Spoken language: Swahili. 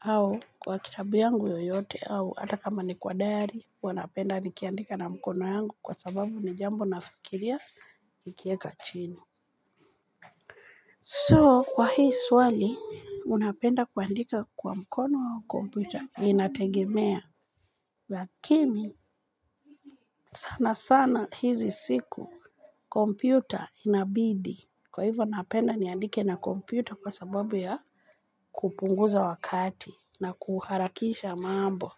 au kwa kitabu yangu yoyote, au ata kama ni kwa dayari, uwanapenda ni kiandika na mkono yangu kwa sababu ni jambo na fikiria nikieka chini. So, kwa hii swali, unapenda kuandika kwa mkono au kompyuta, inategemea. Lakini sana sana hizi siku kompyuta inabidi. Kwa hivo napenda niandike na kompyuta kwa sababu ya kupunguza wakati na kuharakisha mambo.